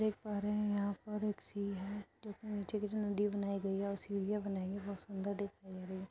देख पा रहे हैं यहाँं पर एक सीढ़ी है जोकि नीचे की जो नदी बनाई गई है सीढ़ियां बनाई गई है बहुत सुंदर दिखाई दे रही है।